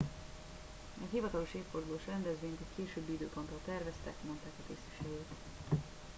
egy hivatalos évfordulós rendezvényt egy későbbi időpontra terveztek mondták a tisztviselők